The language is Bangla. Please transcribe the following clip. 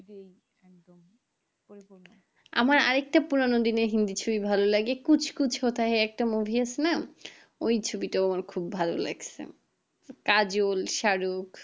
আমার আর একটা পুরানো দিনের হিন্দি ছবি ভালো লাগে कुछ कुछ होता है একটা movie আছে না ওই ছবিটাও আমার খুব ভালো লাগছে কাজল, শারোক